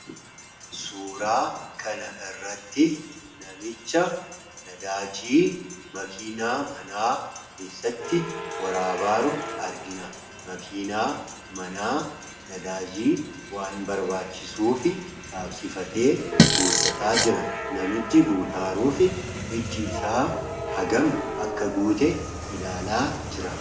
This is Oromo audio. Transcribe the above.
suuraa kana irratti namicha nadaajii makiinaa manaa keessatti waraabaaru argina makiinaa manaa nadaajii waan barbaachisuu fi gaabsifatee guuttataa jira namichi guutaaruu fi ijji isaa hagam akka guute ilaalaa jira